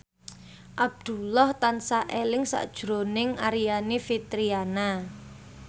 Abdullah tansah eling sakjroning Aryani Fitriana